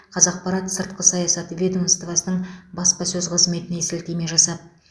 қазақпарат сыртқы саясат ведомоствосының баспасөз қызметіне сілтеме жасап